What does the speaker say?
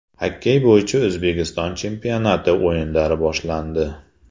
Xokkey bo‘yicha O‘zbekiston chempionati o‘yinlari boshlandi.